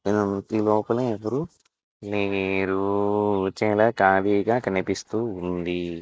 ఈ లోపల ఎవరు మీరు చాలా ఖాళీగా కనిపిస్తూ--